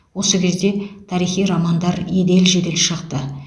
осы кезде тарихи романдар едел жедел шықты